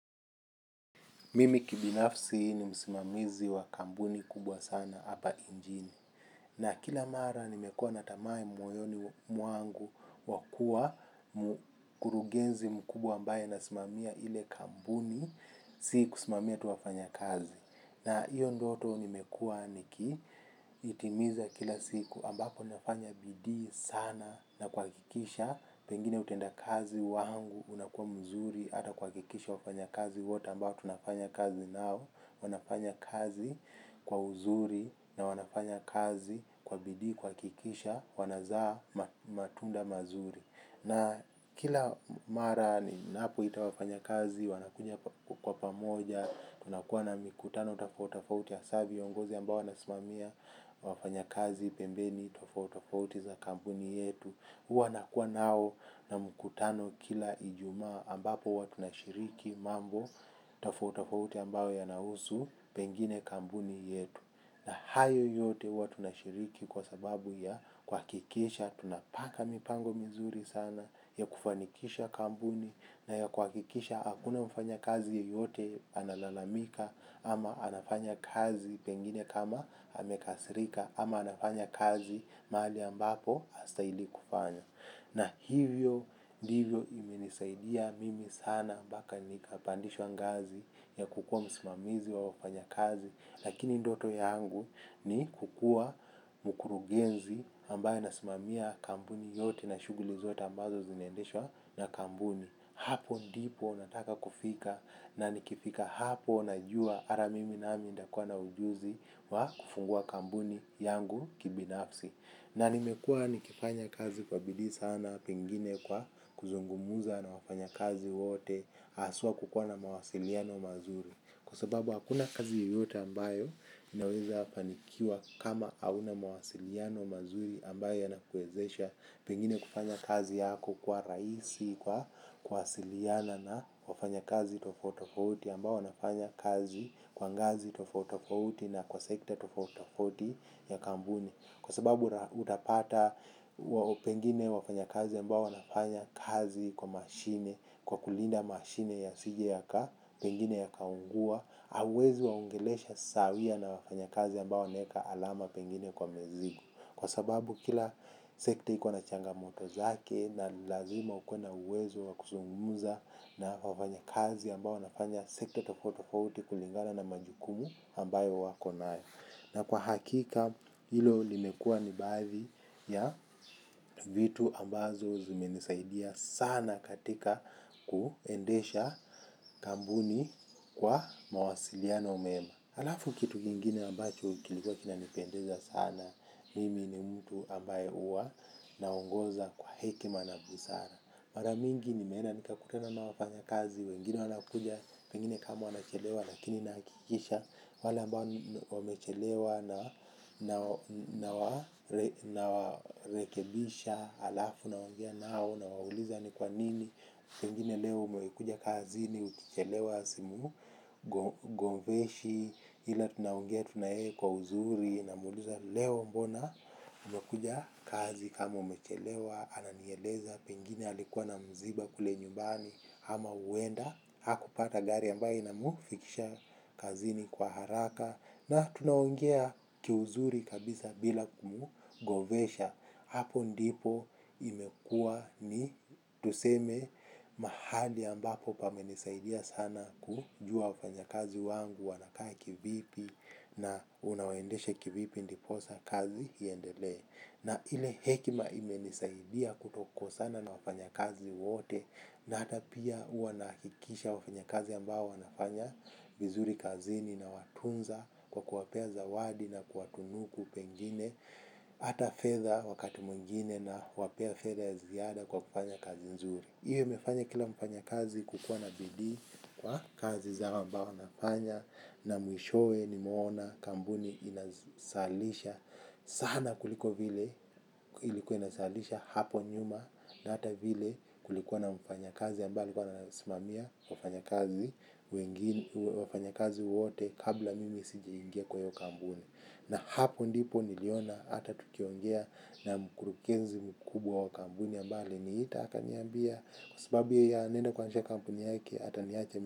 Mimi kibinafsi ni msimamizi wa kampuni kubwa sana hapa inchini. Na kila mara nimekuwa na tamaa moyoni mwangu wakua mkurugenzi mkubwa ambaye nasimamia ile kampuni. Sikusimamia tu wafanyakazi na iyo ndoto nimekuwa niki itimiza kila siku ambapo nafanya bidii sana na kuhakikisha. Pengine utenda kazi wangu unakuwa mzuri ata kuhakikisha wafanyakazi wote ambao tunafanya kazi nao wanafanya kazi kwa uzuri na wanafanya kazi kwa bidii kuhakikisha wanazaa matunda mazuri na kila mara ninapoita wafanyakazi wanakuja kwa pamoja tunakuwa na mikutano tofauti tofauti hasaa viongozi ambao wanasimamia wafanyakazi pembeni tofautitofauti za kampuni yetu huwa nakua nao na mkutano kila ijumaa ambapo huwa tushiriki mambo tofauti tofauti ambayo yanahusu pengine kampuni yetu. Na hayo yote huwa tunashiriki kwa sababu ya kuhakikisha tunapanga mipango mizuri sana ya kufanikisha kampuni na ya kuhakikisha hakuna mfanyakazi yeyote analalamika ama anafanya kazi pengine kama amekasirika ama anafanya kazi mahali ambapo hastahili kufanya. Na hivyo ndivyo imenisaidia mimi sana mpaka nikapandishwa ngazi ya kukua msimamizi wa wafanyakazi. Lakini ndoto yangu ni kukuwa mkurugenzi ambaye anasimamia kampuni yote na shuguli zote ambazo zinaendeshwa na kampuni. Hapo ndipo nataka kufika na nikifika hapo najua hata mimi nami nitakuwa na ujuzi wa kufungua kampuni yangu kibinafsi. Na nimekua nikifanya kazi kwa bidii sana pengine kwa kuzungumuza na wafanyakazi wote haswa kukuwa na mawasiliano mazuri. Kwa sababu hakuna kazi yoyota ambayo inaweza fanikiwa kama hauna mawasiliano mazuri ambayo yanakuwezesha pengine kufanya kazi yako kuwa rahisi kwa kuwasiliana na wafanyakazi tofauti tofouti ambao wanafanya kazi kwa ngazi tofauti tofauti na kwa sekta tofauti tofauti ya kampuni. Kwa sababu utapata pengine wafanyakazi ambao wanafanya kazi kwa mashine, kwa kulinda mashine yasije yaka, pengine yakaungua, hauwezi waongelesha sawia na wafanya kazi ambao wanaeka alama pengine kwa mizigo. Kwa sababu kila sekta iko na changamoto zake na lazima ukuwe na uwezo wakuzungumuza na wafanyakazi ambao wanafanya sekta tofauti tofauti kulingana na majukumu ambayo wakonayo. Na kwa hakika hilo limekua nibaadhi ya vitu ambazo zimenisaidia sana katika kuendesha kambuni kwa mawasiliano mema. Halafu kitu kingine ambacho kilikuwa kina nipendeza sana mimi ni mtu ambaye huwa na ongoza kwa hekima na busara. Maramingi nimeenda nikakutana na wafanyakazi wengine wanakuja pengine kama wamechelewa lakini nahakikisha wale ambao wamechelewa na warekebisha alafu naongea nao nawauliza ni kwa nini. Pengine leo umekuja kazini ukichelewa simu, gombeshi, ila tunaongea tu naye kwa uzuri namuuliza leo mbona ume kuja kazi kama umechelewa, ananieleza, pengine alikuwa na mziba kule nyumbani, ama huenda, haku pata gari ambaye inamufikisha kazini kwa haraka. Na tunaongea kiuzuri kabisa bila kumu govesha. Hapo ndipo imekua ni tuseme mahali ambapo pamenisaidia sana. Kujua wafanya kazi wangu wanakaa kivipi na unawaendeshe kivipi ndiposa kazi iendelee. Na ile hekima imenisaidia kuto kosana na wafanya kazi wote. Na hata pia huwa nahakikisha wafanya kazi ambao wanafanya vizuri kazini na watunza kwa kuwapea zawadi na kuwatunuku pengine hata fedha wakati mwingine nawapea fedha ya ziada kwa kufanya kazi nzuri hiyo mefanya kila mfanyakazi kukuwa na bidii kwa kazi zao ambao wanafanya na mwishoe nimeona kampuni inazalisha sana kuliko vile ilikuwa inazalisha hapo nyuma na hata vile kulikuwa na mfanyakazi ambaye alikuwa ananisimamia wafanyakazi wengine wafanya kazi wote kabla mimi sijaingia kwa hio kampuni na hapo ndipo niliona hata tukiongea na mkurukenzi mkubwa wa kambuni ambaye aliniita akaniambia kwa sababu yeye anaenda kuanzisha kampuni yake ata niacha.